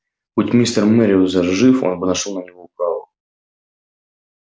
будь мистер мерриуэзер жив он бы нашёл на него управу